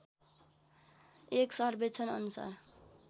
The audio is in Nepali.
एक सर्वेक्षण अनुसार